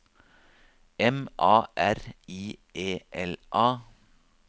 M A R I E L A